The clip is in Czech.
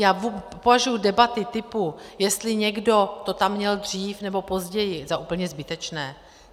Já považuji debaty typu, jestli někdo to tam měl dřív nebo později, za úplně zbytečné.